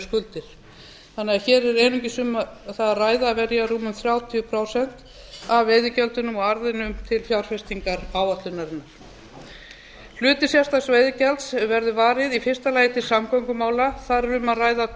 skuldir þannig að hér er einungis um það að ræða að verja rúmum þrjátíu prósent af veiðigjöldunum og arðinum til fjárfestingaráætlunarinnar hluta sérstaks veiðigjalds verður varið í fyrsta lagi til samgöngumála þar er um að ræða tvö